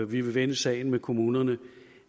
vi vil vende sagen med kommunerne